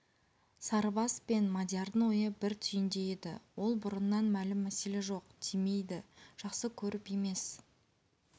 сарыбас пен мадиярдың ойы бір түйінде еді ол бұрыннан мәлім мәселе жоқ тимейді жақсы көріп емес